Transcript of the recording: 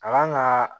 A kan ka